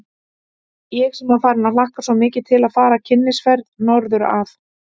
Ég sem var farin að hlakka svo mikið til að fara í kynnisferð norður að